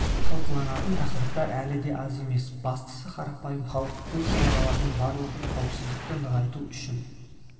талқыланатын тақырыптар әлі де аз емес бастысы қарапайым халық бұл шаралардың барлығы қауіпсіздікті нығайту үшін